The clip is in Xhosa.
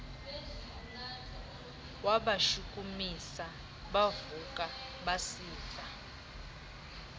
wabashukumisa bavuka basiva